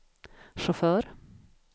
chaufför